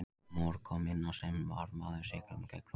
Mor kom inn á sem varamaður í sigrinum gegn Króatíu.